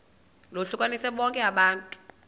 lohlukanise bonke abantu